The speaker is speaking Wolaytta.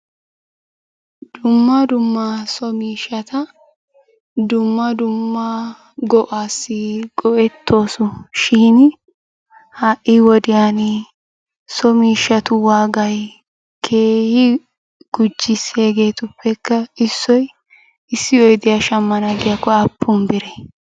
Dumma dumma so miishshata dumma dumma go'aassi go"ettoosushin ha"i wodiyan so miishshatu waagay keehi gujjis. Hegeetuppekka issoy issi oydiyaa shammana giyaakko aappun biree?